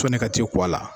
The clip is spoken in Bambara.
Sɔni ka t'i kɔ a la